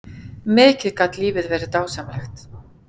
Mikið gat lífið verið dásamlegt.